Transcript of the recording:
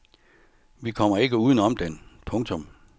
Vi kommer ikke uden om den. punktum